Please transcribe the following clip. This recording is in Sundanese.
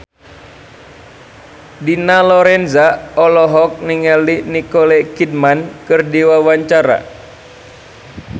Dina Lorenza olohok ningali Nicole Kidman keur diwawancara